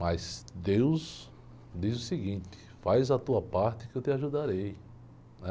Mas Deus diz o seguinte, faz a tua parte que eu te ajudarei, né?